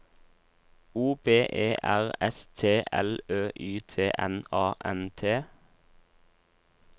O B E R S T L Ø Y T N A N T